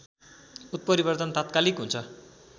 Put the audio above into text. उत्परिवर्तन तात्कालिक हुन्छ